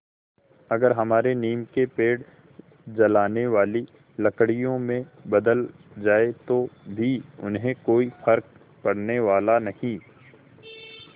अगर हमारे नीम के पेड़ जलाने वाली लकड़ियों में बदल जाएँ तो भी उन्हें कोई फ़र्क पड़ने वाला नहीं